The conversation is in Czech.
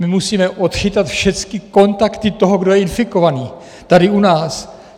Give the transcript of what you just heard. My musíme odchytat všechny kontakty toho, kdo je infikovaný tady u nás.